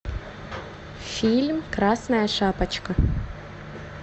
фильм красная шапочка